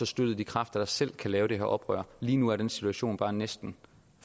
støttede de kræfter der selv kan lave det her oprør lige nu er den chance bare næsten